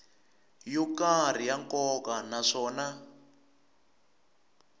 yo karhi ya nkoka naswona